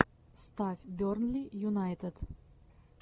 ставь бернли юнайтед